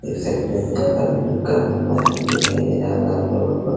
देख सकते है दिखाई दे रहा होगा आप सब को।